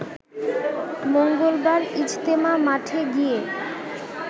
মঙ্গলবার ইজতেমা মাঠে গিয়ে